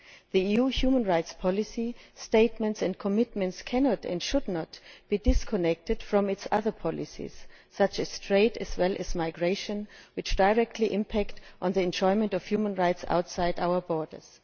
The EU's human rights policy statements and commitments cannot and should not be disconnected from its other policies, such as trade and migration, which directly impact on the enjoyment of human rights outside our borders.